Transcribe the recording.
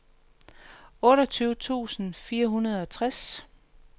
otteogtyve tusind fire hundrede og tres